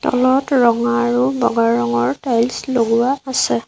তলত ৰঙা আৰু বগা ৰঙৰ টাইলছ লগোৱা আছে।